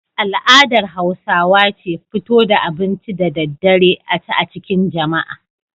Al'adar Hausawa ce fito da abinci da daddare a ci a cikin jama'a.